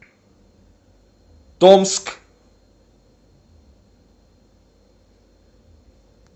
томск